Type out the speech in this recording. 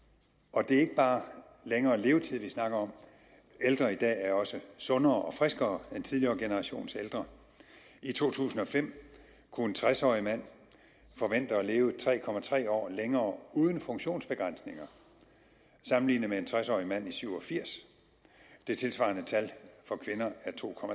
og det er ikke bare længere levetid vi snakker om ældre i dag er også sundere og friskere end tidligere generationers ældre i to tusind og fem kunne en tres årig mand forvente at leve tre år længere uden funktionsbegrænsninger sammenlignet med en tres årig mand i nitten syv og firs det tilsvarende tal for kvinder er to